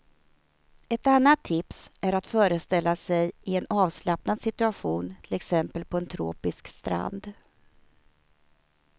Ett annat tips är att föreställa sig i en avslappnad situation, till exempel på en tropisk strand.